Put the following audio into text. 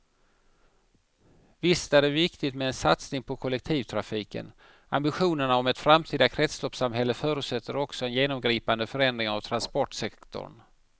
Visst är det viktigt med en satsning på kollektivtrafiken, ambitionerna om ett framtida kretsloppssamhälle förutsätter också en genomgripande förändring av transportsektorn.